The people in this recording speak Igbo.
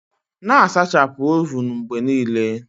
Na-asachapụ ovun mgbe niile.